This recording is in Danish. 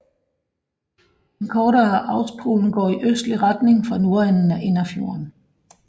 Den kortere Austpollen går i østlig retning fra nordenden af Innerfjorden